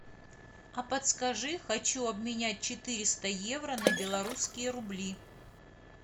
а подскажи хочу обменять четыреста евро на белорусские рубли